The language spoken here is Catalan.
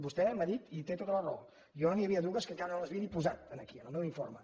vostè m’ha dit i té tota la raó que jo n’hi havia dues que encara no les havia ni posat aquí en el meu informe